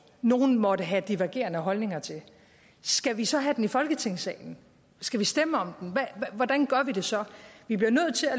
nogle måtte have divergerende holdninger til skal vi så have den i folketingssalen skal vi stemme om den hvordan gør vi det så vi bliver